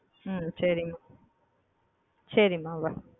ஹ்ம் செரி மா செரி மா bye.